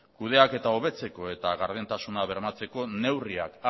kudeaketa hobetzeko eta gardentasuna bermatzeko neurriak